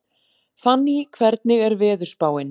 Fanný, hvernig er veðurspáin?